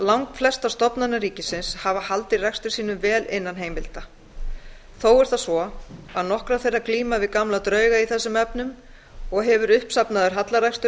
langflestar stofnanir ríkisins hafa haldið rekstri sínum vel innan heimilda þó er það svo að nokkrar þeirra glíma við gamla drauga í þessum efnum og hefur uppsafnaður hallarekstur